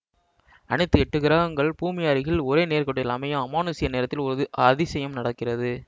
அனைத்து எட்டு கிரகங்கள் பூமி அருகில் ஒரே நேர்க்கோட்டில் அமையும் அமானுஷ்ய நேரத்தில் ஒரு அதிசயம் நடக்கிறது